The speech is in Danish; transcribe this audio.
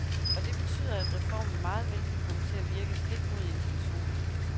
Og det betyder, at reformen meget vel kan komme til at virke stik mod intentionerne.